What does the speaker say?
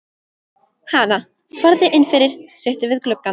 Hana, farðu inn fyrir, sittu við gluggann.